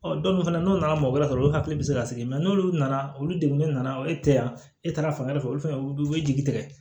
dɔw fana n'u nana mɔgɔ wɛrɛ sɔrɔ olu hakili bɛ se ka sɛgɛn n'olu nana olu degunen nana e tɛ yan e taara fan wɛrɛ fɛ olu fana u bɛ jigi tigɛ